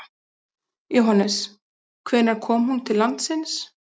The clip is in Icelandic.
Jóhannes: Hvenær kom hún til landsins?